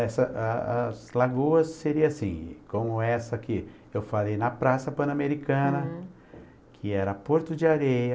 Essa a as lagoas seriam assim, como essa aqui, eu falei, na Praça Pan-Americana, que era Porto de Areia.